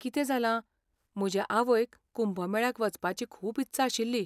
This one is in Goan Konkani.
कितें जालां, म्हजे आवयक कुंभ मेळ्याक वचपाची खूब इत्सा आशिल्ली.